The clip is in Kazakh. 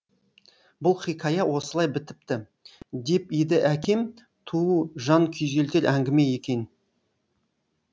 бұл хикая осылай бітіпті деп еді әкем туу жан күйзелтер әңгіме екен